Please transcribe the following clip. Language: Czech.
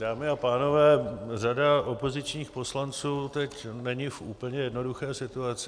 Dámy a pánové, řada opozičních poslanců teď není v úplně jednoduché situaci.